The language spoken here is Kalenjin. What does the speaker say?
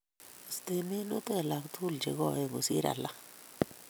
Iste minutik alak tugul che koen kosir alage